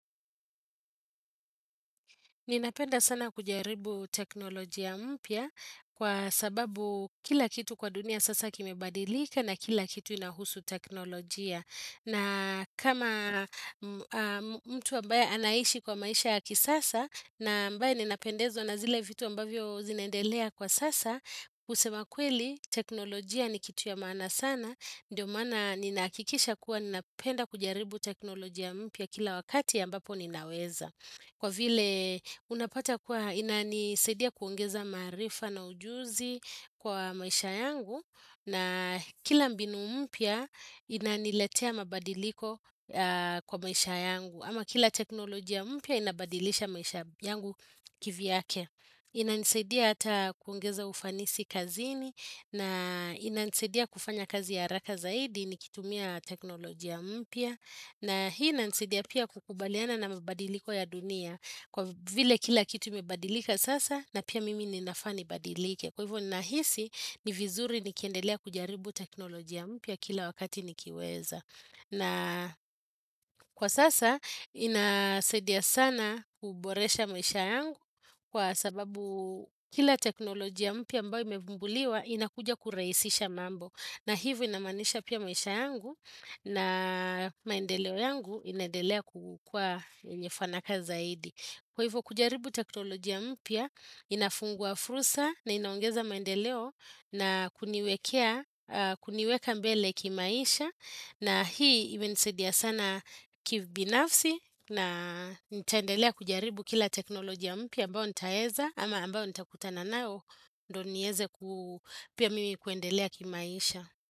Ninapenda sana kujaribu teknolojia mpya kwa sababu kila kitu kwa dunia sasa kimebadilika na kila kitu inahusu teknolojia. Na kama mtu ambaye anaishi kwa maisha ya kisasa na ambaye ninapendezwa na zile vitu ambavyo zinaendelea kwa sasa, kusema kweli, teknolojia ni kitu ya maana sana, ndio maana ninahakikisha kuwa ninapenda kujaribu teknolojia mpya kila wakati ambapo ninaweza. Kwa vile unapata kuwa inanisaidia kuongeza maarifa na ujuzi kwa maisha yangu na kila mbinu mpya inaniletea mabadiliko kwa maisha yangu. Ama kila teknolojia mpya inabadilisha maisha yangu kivyake. Inanisaidia hata kuongeza ufanisi kazini na inanisaidia kufanya kazi ya haraka zaidi nikitumia teknolojia mpya. Na hii inanisaidia pia kukubaliana na mabadiliko ya dunia. Kwa vile kila kitu imebadilika sasa na pia mimi ninafaa nibadilike. Kwa hivyo nahisi ni vizuri nikiendelea kujaribu teknolojia mpya kila wakati nikiweza. Na kwa sasa inasaidia sana kuboresha maisha yangu kwa sababu kila teknolojia mpya ambao imegunduliwa inakuja kurahisisha mambo. Na hivyo inamaanisha pia maisha yangu na maendeleo yangu inaendelea kukuwa yenye fanaka zaidi. Kwa hivyo, kujaribu teknolojia mpya inafungua fursa na inaongeza maendeleo na kuniwekea, kuniweka mbele kimaisha. Na hii imenisaidia sana kibinafsi na nitaendelea kujaribu kila teknolojia mpya ambayo nitaweza ama ambayo nitakutana nao ndio niweze pia mimi kuendelea kimaisha.